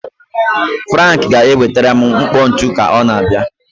Frank ga-enwetara m mkpọ ntu ka ọ na-abịa.